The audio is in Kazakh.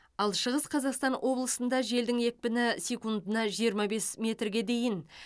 ал шығыс қазақстан облысында желдің екпіні секундына жиырма бес метрге дейін